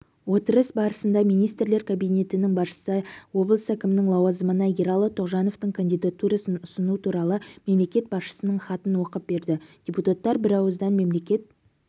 отырыс барысында министрлер кабинетінің басшысы облыс әкімінің лауазымына ералы тоғжановтың кандидатурасын ұсыну туралы мемлекет басшысының хатын оқып берді депутаттар бірауыздан мемлекет